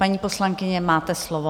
Paní poslankyně, máte slovo.